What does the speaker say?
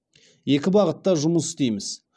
екі бағытта жұмыс істейміз